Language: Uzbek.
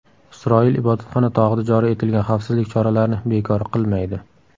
Isroil Ibodatxona tog‘ida joriy etilgan xavfsizlik choralarini bekor qilmaydi.